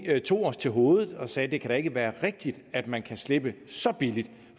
at vi tog os til hovedet og sagde at det kan være rigtigt at man kan slippe så billigt